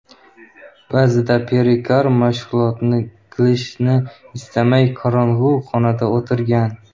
Ba’zida Perikar mashg‘ulot qilishni istamay, qorong‘i xonada o‘tirgan.